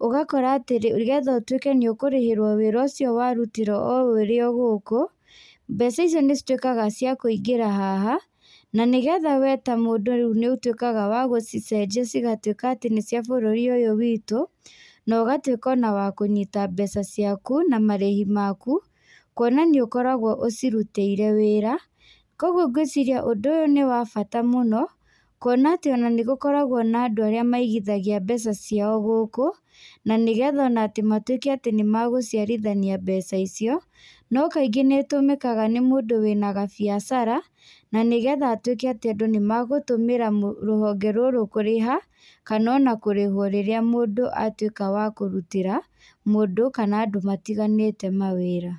ũgakora atĩ nĩgetha ũtuĩke nĩ ũkĩrĩhĩrwo wĩra ũcio warutĩra o ũrĩ o gũkũ, mbeca icio nĩ cituĩkaga cia kũingĩra haha. Na nĩgetha we ta mũndũ rĩu nĩ ũtuĩkaga wa gũcicenjia cigatuĩka atĩ nĩ cia bũrũri ũyũ witũ, na ũgatuĩka ona wa kũnyita mbeca ciaku, na marĩhi maku. Kuona nĩ ũkoragwo ũcirutĩire wĩra. Kũguo ngwĩciria ũndũ ũyũ nĩ wa bata mũno, kuona atĩ ona nĩ gũkoragwo na andũ arĩa maigithagia mbeca ciao gũkũ, na nĩgetha ona atĩ matuĩke atĩ nĩ magũciarithania mbeca icio. No kaingĩ nĩ ĩtũmĩkaga nĩ mũndũ wĩna gabiacara, na nĩgetha atuĩke atĩ andũ nĩ magũtũmĩra rũhonge rũrũ kũrĩha, kana ona kũrĩhwo rĩrĩa mũndũ atuĩka wa kũrutĩra mũndũ kana andũ matiganĩte mawĩra.